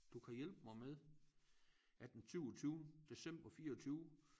Du kan hjælpe mig med at den syvogtyvende december 24